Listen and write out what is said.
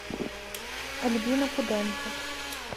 альбина куденко